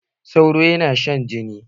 Sauro ya na shan jini.